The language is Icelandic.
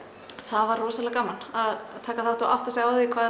það var rosalega gaman að taka þátt og átta sig á því hvað